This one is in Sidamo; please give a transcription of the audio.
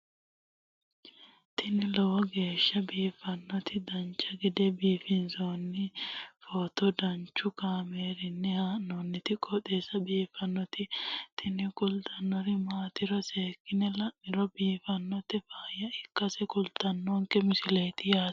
tini lowo geeshsha biiffannoti dancha gede biiffanno footo danchu kaameerinni haa'noonniti qooxeessa biiffannoti tini kultannori maatiro seekkine la'niro biiffannota faayya ikkase kultannoke misileeti yaate